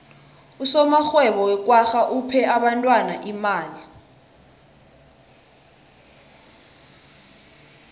usomarhwebo wekwagga uphe abentwana imali